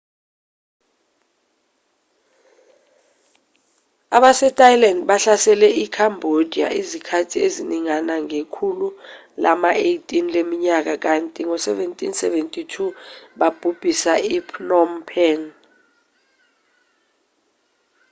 abasethailand bahlasele i-cambodia izikhathi eziningana ngekhulu lama-18 leminyaka kanti ngo-1772 babhubhisa i-phnom phen